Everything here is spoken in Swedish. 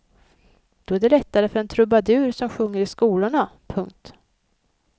Då är det lättare för en trubadur som sjunger i skolorna. punkt